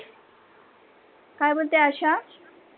काय बोलते आशा?